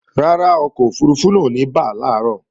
Rárá, ọkọ̀ òfurufú náà ò ní bà làárọ̀